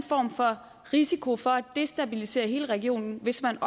risiko for at destabilisere hele regionen hvis man